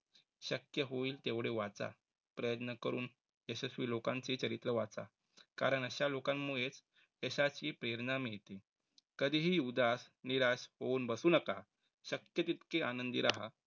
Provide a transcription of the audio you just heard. शक्य होईल तेवढे वाचा. प्रयत्न करून यशस्वी लोकांची चरित्र वाचा. कारण अशा लोकांमुळे यशाची प्रेरणा मिळते. कधीही उदास निराश होऊन बसू नका. शक्य तितकी आनंदी राहा.